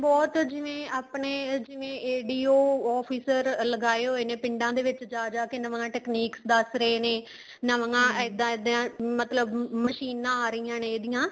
ਬਹੁਤ ਜਿਵੇਂ ਆਪਣੇ ਜਿਵੇਂ ADO officer ਲਗਾਏ ਹੋਏ ਨੇ ਪਿੰਡਾਂ ਦੇ ਵਿੱਚ ਜਾ ਜਾ ਕੇ ਨਵਾ technique ਦੱਸ ਰਹੇ ਨੇ ਨਵੀਆਂ ਇੱਦਾਂ ਇੱਦਾਂ ਮਤਲਬ ਮਸ਼ੀਨਾਂ ਆ ਰਹੀਆਂ ਨੇ ਇਹਦੀਆਂ